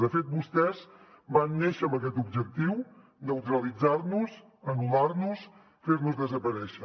de fet vostès van néixer amb aquest objectiu neutralitzar nos anul·lar nos fernos desaparèixer